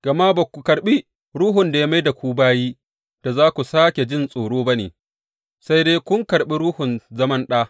Gama ba ku karɓi ruhun da ya mai da ku bayi da za ku sāke jin tsoro ba ne, sai dai kun karɓi Ruhun zaman ɗa.